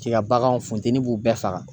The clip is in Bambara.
K'i ka baganw funtɛnni b'u bɛɛ faga.